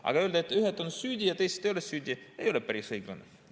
Aga öelda, et ühed on süüdi ja teised ei ole süüdi, ei ole päris õiglane.